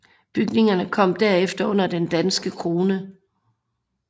Bygningerne kom derefter under den danske krone